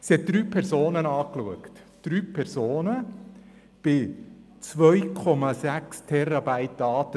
Sie hat drei Personen geprüft – drei Personen bei 2,6 Terabyte Daten.